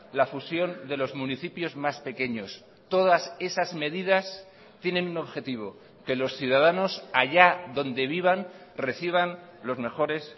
la fusión de los municipios más pequeños todas esas medidas tienen un objetivo que los ciudadanos allá donde vivan reciban los mejores